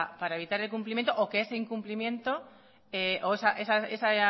para evitar que ese incumplimiento o